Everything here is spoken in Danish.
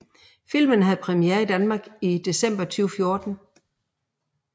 Filmen havde premiere i Danmark i december 2014